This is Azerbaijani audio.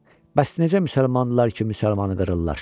Bəs necə müsəlmandılar ki, müsəlmanı qırırlar?